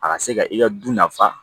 A ka se ka i ka du nafa